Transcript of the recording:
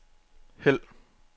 hæld